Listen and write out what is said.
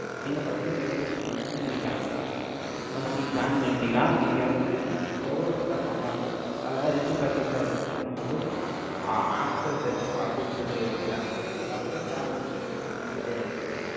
நீங்க first health insurance ல இருந்து, நீங்க join பண்ணிக்கலாம். Once நீங்க join பண்ணிட்டீங்கன்னா, நீங்க வந்து, எவ்வளவு set of amount அதுல, ரெண்டு package ஆ இருக்கு. ஒண்ணு வந்து, ஆஹ் after death அப்படின்னு சொல்லி, ஒரு term இருக்கு. அப்புறம், term insurance அப்படின்னு சொல்லி, ரெண்டு இருக்கு.